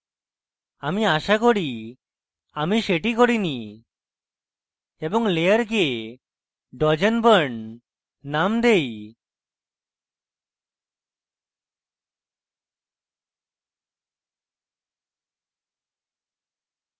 আমি আশা করি আমি সেটা করিনি এবং layer dodge and burn name দেই